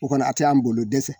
O kɔni a tɛ an bolo dɛsɛ